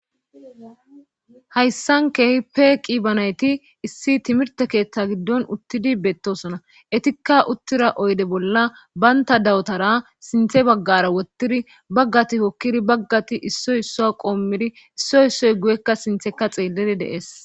hayssan keehi peeqi banayti issi timirte keeththa giddon uttidi beettosona etikka uttira oyde bolla baynta dawutara sinthe baggara wottiri baggati kokkiri baggati issoy isso qoommiri issoy issoy guyekka sintheka xeelliri deees